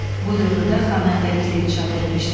Bu dövrdə xanəndəlik də inkişaf etmişdi.